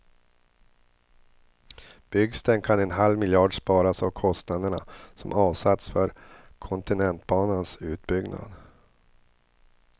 Byggs den kan en halv miljard sparas av kostnaderna som avsatts för kontinentbanans utbyggnad.